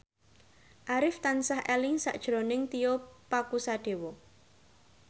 Arif tansah eling sakjroning Tio Pakusadewo